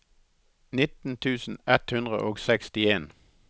nitten tusen ett hundre og sekstien